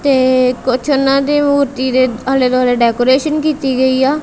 ਤੇ ਕੁਛ ਓਹਨਾ ਦੀ ਮੂਰਤੀ ਦੇ ਆਲੇ ਦੁਆਲੇ ਡੈਕੋਰੇਸ਼ਨ ਕੀਤੀ ਗਈ ਆ।